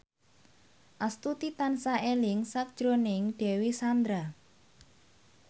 Astuti tansah eling sakjroning Dewi Sandra